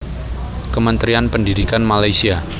Kementerian Pendidikan Malaysia